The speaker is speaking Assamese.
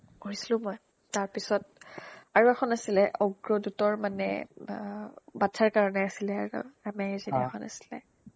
পঢ়িছিলো মই তাৰপিছত আৰু এখন আছিলে অগ্ৰদুতৰ মানে বা বাচ্ছাৰ কাৰণে আছিলে আছিলে